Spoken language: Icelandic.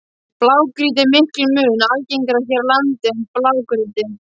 Blágrýti er miklum mun algengara hér á landi en grágrýti.